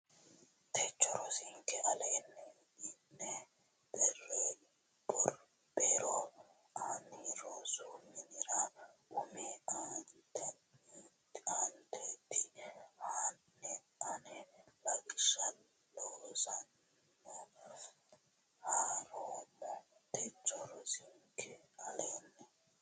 techo rosinke aleenni ini Be ro ani rosu minira umi aanaati hanni ani lawishsha loosanna ha roommo techo rosinke aleenni.